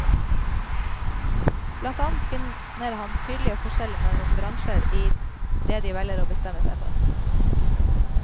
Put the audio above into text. Blant annet finner han tydelige forskjeller mellom bransjer i det de velger og bestemmer seg for.